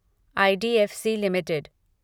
I D F C limited